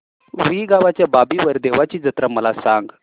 रुई गावच्या बाबीर देवाची जत्रा मला सांग